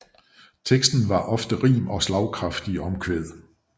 Teksten har ofte rim og slagkraftige omkvæd